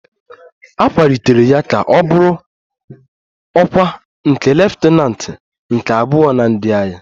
A kwalitere ya ka ọ bụrụ ọkwa nke leftananti nke abụọ na ndị agha